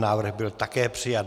Návrh byl také přijat.